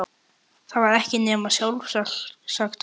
Það var ekki nema sjálfsagt að keyra